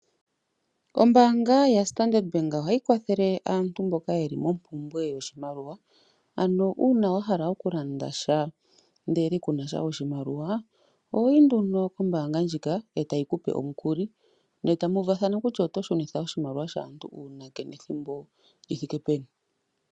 Ombanga yaStandard bank ohayi kwathele aantu mboka yeli mompumbwe yoshimaliwa uuna wa hala oku landa sha ndele kuna sha oshimaliwa ohoyi nduno kombanga ndjika etayi kupe omukuli etamu uvathana kutya oto shunitha oshimaliwa shaantu uunake nethimbo lyi thike peni.